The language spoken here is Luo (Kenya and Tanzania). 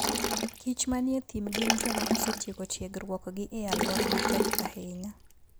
kich manie thim gin joma osetieko tiegruokgi e alwora matek ahinya.